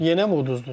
Yenəmi uduzdunuz?